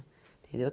Entendeu?